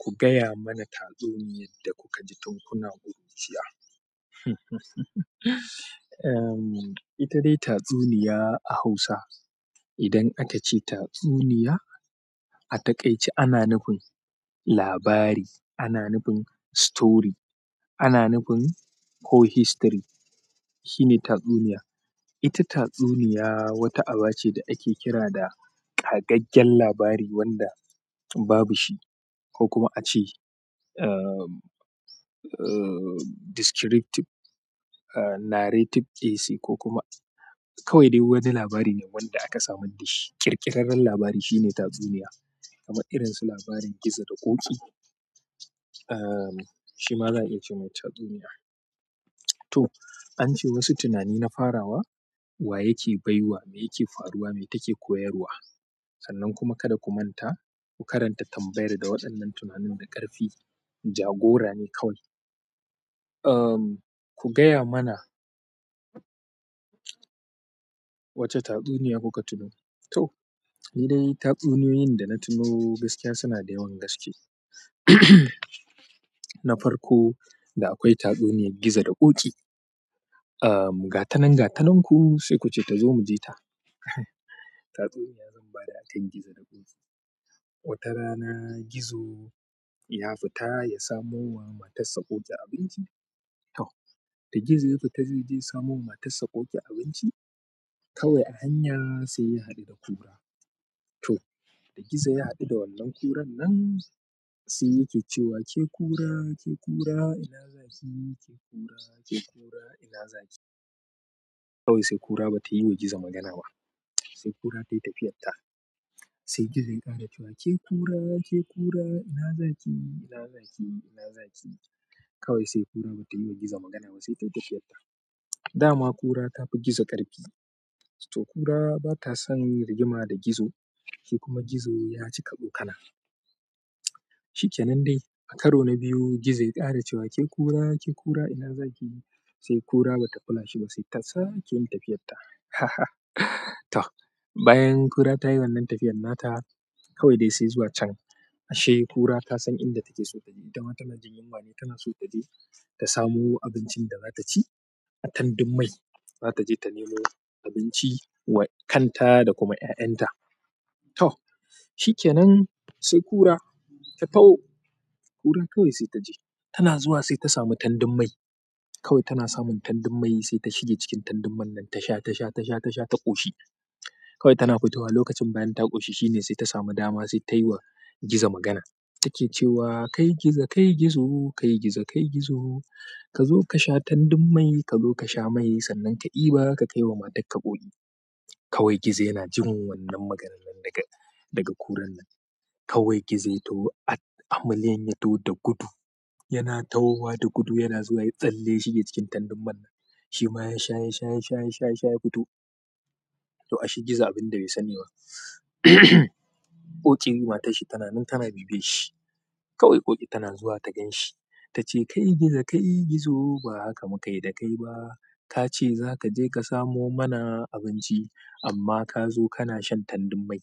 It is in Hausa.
Ku gaya mana tatsuniyar da kuka ji tun kuna ƙuruciya. Ehm, ita dai tatsuniya a Hausa, idan aka ce tatsuniya, a takaice ana nufin labari, ana nufin story, ana nufin whole history. Shine tatsuniya. Ita tatsuniya wata aba ce da ake kira da kagaggen labari wanda babu shi ko kuma a ce, ehm, descriptive, narrative essay ko kuma kawai dai wani labari ne wanda aka samar da shi. Kirƙirarren labari shine tatsuniya, kaman irin su labarin gizo da Ƙoƙi, shi ma za'a iya ce mai tatsuniya. To, an ce wasu tunani na farawa wa yake baiwa, me yake faruwa, me take koyarwa sannan kuma kada ku manta ku karanta tambayar da waɗannan tunanin da ƙarfi. Jagora ne kawai. Ku gaya mana wace tatsuniya kuka tuno? To, ni dai tatsuniyoyin da na tuno gaskiya suna da yawan gaske. Na farko, da akwai tatsuniyar gizo da Ƙoƙi. Gatanan gatanan ku, sai kuce tazo mujita tatsuniya zan ba da akan gizo da Ƙoƙi. Wata rana gizo ya fita ya samo wa matarsa Ƙoƙi abinci. To, da gizo ya fita zaije ya samo wa matarsa Ƙoƙi abinci, kawai a hanyar sai ya haɗu da ƙura. To, da gizo ya haɗu da wannan ƙuran nan sai yake cewa, "Ke ƙura, ke ƙura ina za ki? Ke ƙura, ke ƙura ina za ki?" Kawai sai ƙura ba ta yi wa gizo magana ba, sai ƙura tayi tafiyarta. Sai gizo ya ƙara cewa, "Ke ƙura, ke ƙura ina za ki? Ina za ki? Ina za ki?" Kawai sai ƙura ba ta yi wa gizo magana ba, sai ta yi tafiyarta. Dama ƙura ta fi gizo ƙarfi. To ƙura ba ta san rigima da gizo, sai kuma gizo ya cika tsokana. Shikenan dai, a karo na biyu gizo ya ƙara cewa, "Ke ƙura, ke ƙura ina za ki?" Sai ƙura ba ta kula shi ba, sai ta sa ke yin tafiyarta. To, bayan ƙura ta yi wannan tafiyar nata, kawai dai sai zuwa can ashe ƙura ta san inda take so taje. Ita ma tana jin yunwa ne, tana so ta je ta samu abincin da za ta ci a tandun mai. Zata je ta nemo abinci wa kanta, da kuma yayanta to, shikenan sai ƙura ta ƙura kawai sai ta je. Tana zuwa sai ta samu tandun mai. Kawai tana samun tandun mai sai ta shige cikin tandun man nan tasha, tasha, tasha, tasha ta ƙoshi. Kawai tana fitowa lokacin bayan ta ƙoshi shine sai ta samu dama sai ta yi wa gizo magana. Ta ke cewa, "Kai gizo, kai gizo, kai gizo, kai gizo ka zo ka sha tandun mai, ka zo ka sha mai sannan ka ɗiba ka kai wa matarka Ƙoƙi." kawai gizo yanajin wannan maganar nan daga kuran nan. Kawai Gizo ya taho, a million ya taho da gudu. Yana taho wa da gudu, yana zuwa yayi tsalle ya shige cikin tandun man. Shi ma yasha, yasha, yasha, yasha ya fito to ashe gizo abin da bai sani ba Ƙoƙi matarshi tana nan tana bibiyan shi. Kawai Ƙoƙi tana zuwa ta gan shi. Ta ce, "Kai gizo, kai gizo ba haka muka yi da kai ba. Ka ce za ka je ka samo mana abinci amma ka zo kana shan tandun mai."